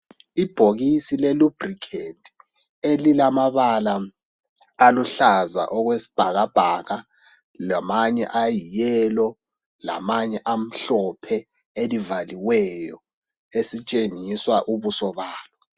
Ibhokisi le "Lubricant" elilamabala aluhlaza okwesibhakabhaka lamanye ayi "yellow" ,lamanye amhlophe elivaliweyo esitshengiswa ubuso balo.